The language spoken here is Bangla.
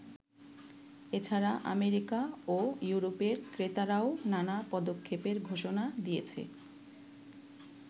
এছাড়া আমেরিকা ও ইউরোপের ক্রেতারাও নানা পদক্ষেপের ঘোষণা দিয়েছে।